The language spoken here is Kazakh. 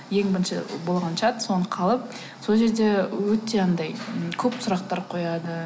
ең бірінші болған чат соны қалып сол жерде өте анадай көп сұрақтар қояды